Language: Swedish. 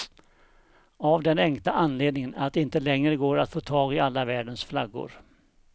Av den enkla anledningen att det inte längre går att få tag i alla världens flaggor.